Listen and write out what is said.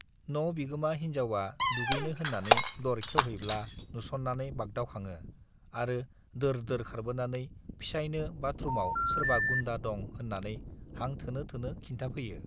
न' बिगोमा हिन्जावा दुगैनो होन्नानै दर खेउहैब्ला नुस'न्नानै बागदावखाङो आरो दोर-दोर खारबोनानै फिसाइनो बाथरुमाव सोरबा गुन्डा दं होन्नानै हां थोनो-थोनो खिन्थाफैयो।